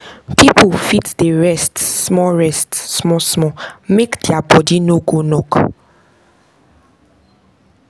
pipu fit dey rest small rest small small make dia bodi no go knock